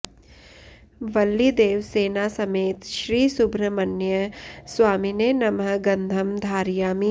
वल्लीदेवसेना समेत श्री सुब्रह्मण्य स्वामिने नमः गन्धम् धारयामि